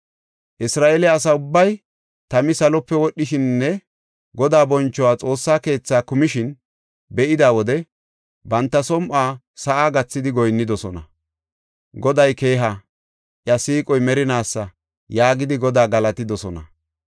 Isra7eele asa ubbay tami salope wodhishininne Godaa bonchoy Xoossa keethaa kumishin be7ida wode banta som7uwa sa7a gathidi goyinnidosona. “Goday keeha! iya siiqoy merinaasa” yaagidi Godaa galatidosona.